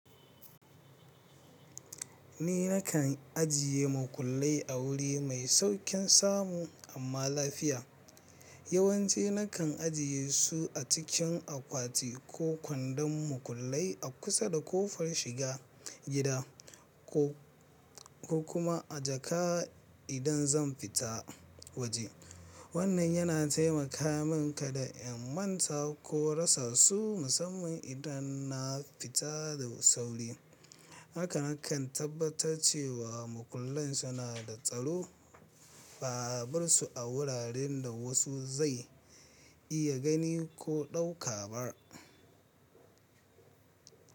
Ni nakan ajiye makullai a wuri mai sauƙin samu amma lafiya. Yawanci nakan ajiye su a cikin akwati ko kwandon makullai a kusa da ƙofar shiga gida ko, ko kuma a jaka idan zan fita waje. Wannan yana taimaka min kada in manta ko rasa su musamman idan na fita da sauri. Haka na kan tabbatar cewa makullan suna da tsaro ba a bar su a wuraren da wasu zai iya gani ko ɗauka ba.